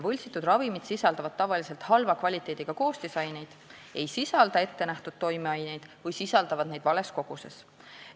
Võltsitud ravimid sisaldavad tavaliselt halva kvaliteediga koostisaineid, ei sisalda ettenähtud toimeaineid või sisaldavad neid vales koguses.